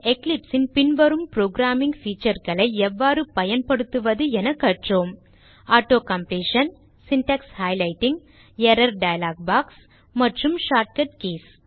இதில் Eclipse ன் பின்வரும் புரோகிராமிங் featureகளை எவ்வாறு பயன்படுத்துவது என கற்றோம் auto completion syntax highlighting error dialogue box மற்றும் ஷார்ட்கட் கீஸ்